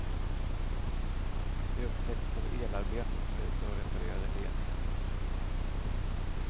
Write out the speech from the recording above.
De upptäcktes av elarbetare som var ute och reparerade ledningar.